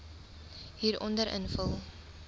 hieronder invul